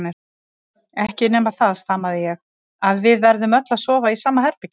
Ekki nema það, stamaði ég, að við verðum öll að sofa í sama herbergi.